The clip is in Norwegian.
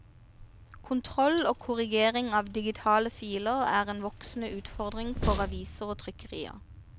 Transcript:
Kontroll og korrigering av digitale filer er en voksende utfordring for aviser og trykkerier.